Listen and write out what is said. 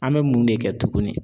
An bɛ mun de kɛ tuguni